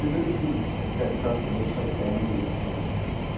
Det lød hult, da den første møtrik landede i den tomme spand.